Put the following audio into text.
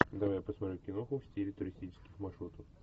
давай я посмотрю киноху в стиле туристических маршрутов